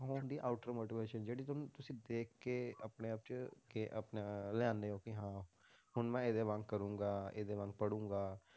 ਉਹ ਹੁੰਦੀ ਆ outer motivation ਜਿਹੜੀ ਤੁਹਾਨੂੰ ਤੁਸੀਂ ਦੇਖ ਕੇ ਆਪਣੇ ਆਪ 'ਚ ਕਿ ਆਪਣਾ ਲਿਆਉਂਦੇ ਹੋ ਵੀ ਹਾਂ ਹੁਣ ਮੈਂ ਇਹਦੇ ਵਾਂਗ ਕਰਾਂਗਾ, ਇਹਦੇ ਵਾਂਗ ਪੜ੍ਹਾਂਗਾ।